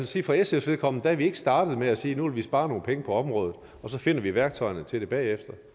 sige for sfs vedkommende at vi ikke er startet med at sige at nu vil vi spare nogle penge på området og så finder vi værktøjerne til det bagefter